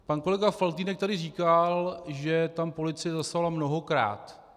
Pan kolega Faltýnek tady říkal, že tam policie zasahovala mnohokrát.